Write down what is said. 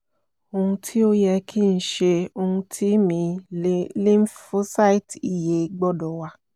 ohun ti o yẹ ki n ṣe ohun ti mi lymphocyte iye gbọdọ wa